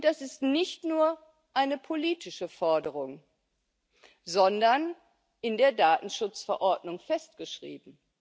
Und das ist nicht nur eine politische Forderung, sondern in der Datenschutzverordnung festgeschrieben.